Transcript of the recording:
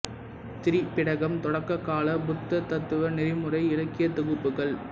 திரிபிடகம் தொடக்க கால புத்த தத்துவ நெறிமுறை இலக்கியத் தொகுப்புகள்